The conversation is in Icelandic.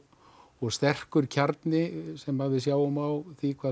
og sterkur kjarni sem við sjáum á því hvað